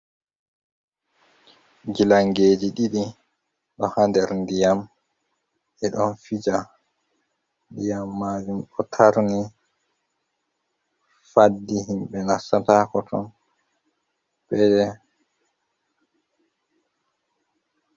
Gilangeji ɗiɗi ɗo ha nder ndiyam ɗe ɗon fija ndiyam majum ɗo tarni faddi himɓɓe nastatako ton ɓe.